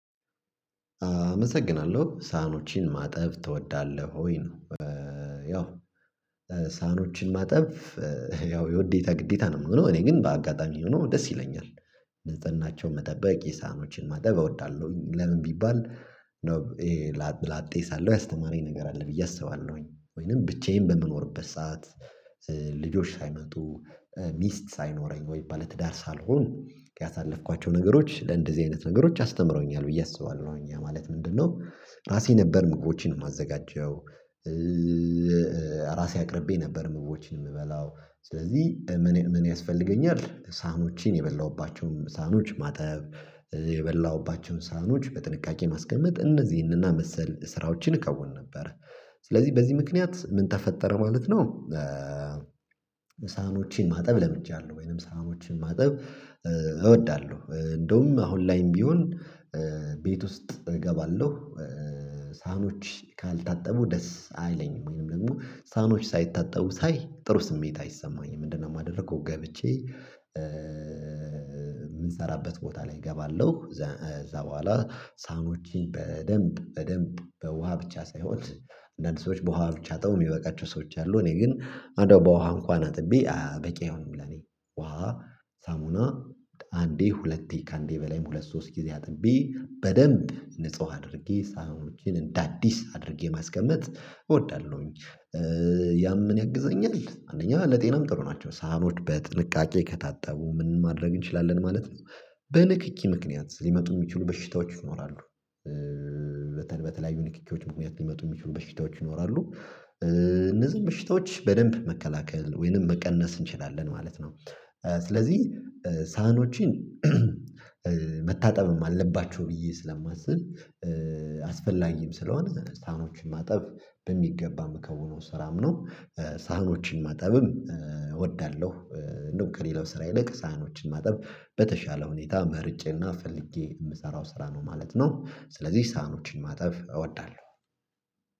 አመሰግናለሁ። ሳህኖችን ማጠብ ትወዳለህ ወይ ነው ያው ሳህኖችን ማጠብ ያው የውዴታ ግዴታ ነው እኔ ግን በአጋጣሚ ሆኖ ደስ ይለኛል ንጽህናቸው መጠበቅ የሳህኖችን ማጠብ እወዳለሁኝ ለምን ቢባል ነው ላጤ ሳለው ያስተማረኝ ነገር አለ ብዬ አስባለሁኝ ወይንም ብቻዬን በምኖርበት ሰዓት ልጆች ሳይመጡ ሚስት ሳይኖረኝ ወይ ባለ ትዳር ሳልሆን ያሳለፍኳቸው ነገሮች ለእንደዚህ አይነት ነገሮች አስተምረውኛል ብዬ አስባለሁ ያ ማለት ምንድነው ራሴ ነበር ምግቦቼን የማዘጋጀው ራሴ አቅርቤ ነበር መግቦችን የምበላው ስለዚህ ምን ያስፈልገኛል ሳህኖቼን የበላሁባቸውም ሳህኖች ማጠብ የበላሁባቸውን ሳህኖች በጥንቃቄ ማስቀመጥ እነዚህንና መሰል ስራዎችን እከውን ነበር ስለዚህ በዚህ ምክንያት ምን ተፈጠረ ማለት ነው ሳህኖቼን ማጠብ ለምቻለሁ ወይንም ሰሃኖችን ማጠብ እወዳለሁ እንደውም አሁን ላይም ቢሆን ቤት ውስጥ እገባለሁ ሳህኖች ካልታጠቡ ደስ አይለኝም ወይንም ደግሞ ሳህኖች ሳይታጠቡ ሳይ ጥሩ ስሜት አይሰማኝም ምንድነው የማደርገው ገብቼ የምንሰራበት ቦታ ላይ እገባለሁ እዛ በኋላ ሳኖችን በደንብ በደንብ በውሃ ብቻ ሳይሆን እንዳንድ ሰዎች በውሃ ብቻ አጥበው የሚበቃቸው ሰዎች አሉ እኔ ግን በውሃ እንኳን አጥቤ በቂ አይሆንም ለኔ ውሃ ሳሙና አንዴ ሁለቴ ከአንዴ በላይም ሁለት ሶስት ጊዜ አጥቤ በደንብ ንጹህ አድርጌ ሳህኖቼን እንደ አዲስ አድርጌ ማስቀመጥ እወዳለሁኝ ያም ምን ያግዘኛል አንደኛ ለጤናም ጥሩ ናቸው ሳህኖች በጥንቃቄ ከታጠቡ ምን ማድረግ እንችላለን ማለት ነው በንክኪ ምክንያት ሊመጡ የሚችሉ በሽታዎች ይኖራሉ በተለያዩ ንክኪዎች ምክንያት ሊመጡ የሚችሉ በሽታዎች ይኖራሉ እነዚህን በሽታዎች በደንብ መከላከል ወይንም መቀነስ እንችላለን ማለት ነው ስለዚህ ሳህኖችን መታጠብም አለባቸው ብዬ ስለማስብ አስፈላጊም ስለሆነ ሳህኖችን ማጠብ በሚገባ መምከውነው ስራም ነው ሳህኖችን ማጠብም እወዳለሁ እንደው ከሌላው ስራ ይልቅ ሳህኖችን ማጠብ በተሻለ ሁኔታ መርጬና ፈልጌ የምሰራው ስራ ነው ማለት ነው ስለዚህ ሳህኖችን ማጠብ እወዳለሁ